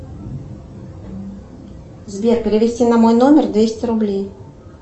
сбер перевести на мой номер двести рублей